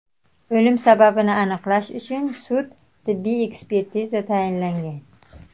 O‘lim sababini aniqlash uchun sud-tibbiy ekspertiza tayinlangan.